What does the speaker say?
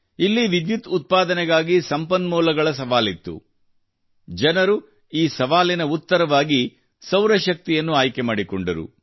ಇಲ್ಲಿ ವಿದ್ಯುತ್ ಉತ್ಪಾದನೆಗಾಗಿ ಸಂಪನ್ಮೂಲಗಳ ಸವಾಲಿತ್ತು ಜನರು ಈ ಸವಾಲಿನ ಉತ್ತರವಾಗಿ ಸೌರ ಶಕ್ತಿಯನ್ನು ಆಯ್ಕೆ ಮಾಡಿಕೊಂಡರು